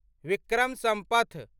Vikram Sampath